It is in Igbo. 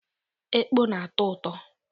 Ekpọ na-atọ ụtọ.